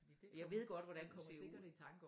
Jeg ved godt hvordan